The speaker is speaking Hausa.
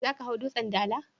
Za ka hau Dutsen Dala?